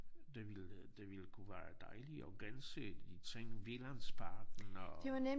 Det ville det ville kunne være dejligt at gense de ting Vigelandsparken og